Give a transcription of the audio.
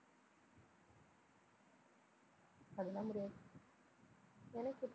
அதெல்லாம் முடியாது எனக்கு இப்~